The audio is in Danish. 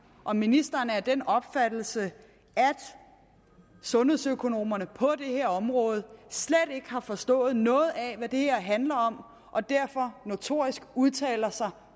om ministeren er af den opfattelse at sundhedsøkonomerne på det her område slet ikke har forstået noget af hvad det her handler om og derfor notorisk udtaler sig